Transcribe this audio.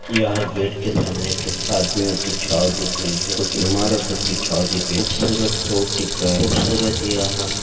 यह गेट के सामने कुछ आदमियों की छाव दिख रही है कुछ इमारत सो की छाव दिख रही है खूबसूरत रोड दिख रा है खूबसूरत यहाँ --